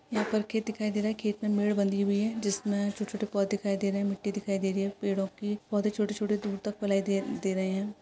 यहा पर खेत दिखाई दे रहा है। खेत मे मिड़ बंधी हुई है। जिसमे छोटे छोटे पौधे दिखाई दे रहे है। मिट्टी दिखाई दे रही है। पेड़ों की पौधे छोटे छोटे दूर तक फेलाये दे दे रहे है।